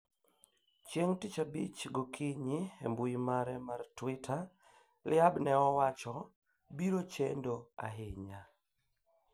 chieng tich abich go kinyi e mbui mare mar Twitter Tlaib ne owacho " biro chendo ahinya"